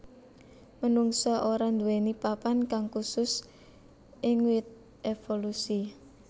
Menungsa ora nduwèni papan kang khusus ing wit évolusi